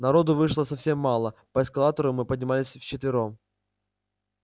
народу вышло совсем мало по эскалатору мы поднимались вчетвером